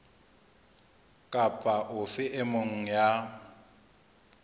kapa ofe e mong ya